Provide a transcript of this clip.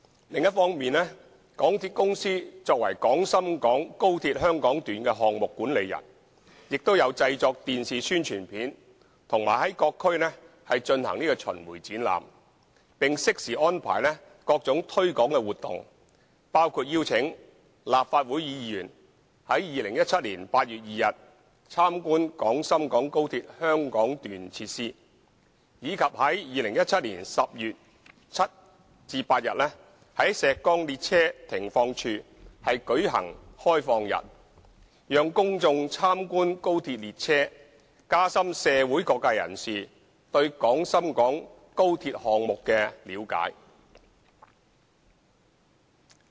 另一方面，港鐵公司作為廣深港高鐵香港段項目管理人，亦有製作電視宣傳片和在各區進行巡迴展覽，並適時安排各種推廣活動，包括邀請立法會議員於2017年8月2日參觀廣深港高鐵香港段設施，以及於2017年10月7日至8日在石崗列車停放處舉行開放日，讓公眾參觀高鐵列車，加深社會各界人士對廣深港高鐵項目的了解。